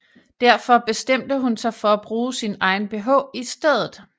Derfor bestemte hun sig for at bruge sin egen bh i stedet